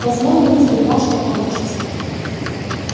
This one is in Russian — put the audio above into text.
посмотрим сперва что получится